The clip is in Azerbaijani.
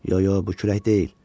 Yox, yox, bu külək deyil.